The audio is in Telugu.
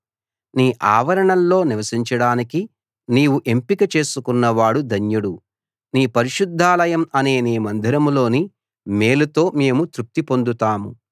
నీ ఆవరణల్లో నివసించడానికి నీవు ఎంపిక చేసుకున్నవాడు ధన్యుడు నీ పరిశుద్ధాలయం అనే నీ మందిరంలోని మేలుతో మేము తృప్తిపొందుతాము